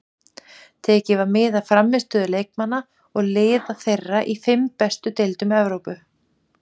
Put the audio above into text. Tekið var mið af frammistöðu leikmanna og liða þeirra í fimm bestu deildum Evrópu.